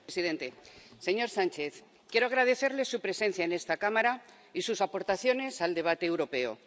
Señor presidente, señor Sánchez, quiero agradecerle su presencia en esta Cámara y sus aportaciones al debate europeo.